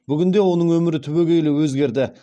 бүгінде оның өмірі түбегейлі өзгерді